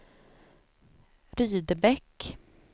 Rydebäck